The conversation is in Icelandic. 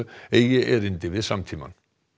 eigi erindi við samtímann